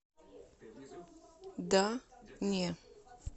да не